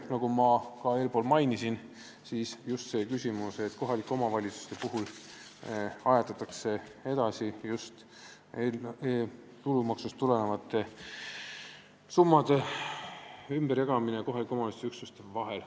Nagu ma ka eespool mainisin, siin on just see küsimus, et kohalike omavalitsuste puhul ajatatakse 2019. aastal tulumaksust tulevate summade ümberjagamist kohaliku omavalitsuse üksuste vahel.